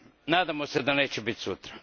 Nadamo se da neće biti sutra.